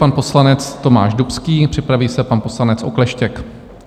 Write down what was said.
Pan poslanec Tomáš Dubský, připraví se pan poslanec Okleštěk.